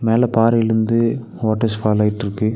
மேல பாறைலிந்து waters fall ஆயிட்ருக்கு.